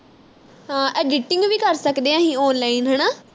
ਹਾਂ editing ਵੀ ਕਰ ਸਕਦੇ ਅਹੀ online ਹਣਾ